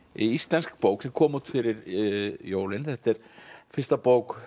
íslensk bók sem kom út fyrir jólin þetta er fyrsta bók